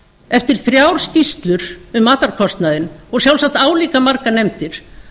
eftir þrjár skýrslur um matarkostnaðinn og sjálfsagt álíka margar nefndir